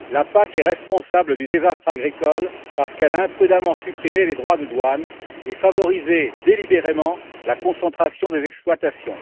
La PAC est responsable du désastre agricole parce qu'elle a imprudemment supprimé les droits de douane et favorisé délibérément la concentration des exploitations.